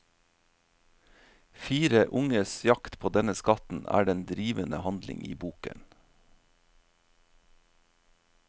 Fire unges jakt på denne skatten er den drivende handling i boken.